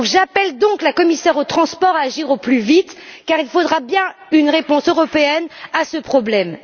J'appelle donc la commissaire aux transports à agir au plus vite, car il faudra bien une réponse européenne à ce problème.